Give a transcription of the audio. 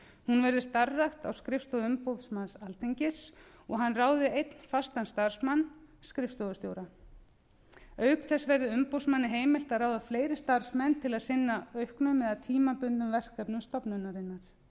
hún verði starfrækt á skrifstofu umboðsmann alþingis og hann ráði einn fastan starfsmann skrifstofustjóra auk þess verði umboðsmanni heimilt að ráða fleiri starfsmenn til að sinna auknum eða tímabundnum verkefnum stofnunarinnar